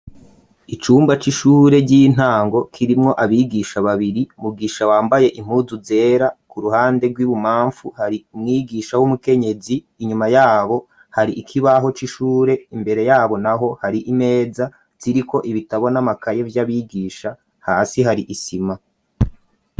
Icumba c'ishure ry'intango kirimwo abigisha babiri, Mugisha wambaye impuzu zera, ku ruhande rw'ibubapfu hari umwigisha w'umukenyezi, inyuma yabo hari ikibaho c'ishure, imbere yabo naho hari imeza iriko ibitabo n' amakaye vy'abigisha, hasi hari isima.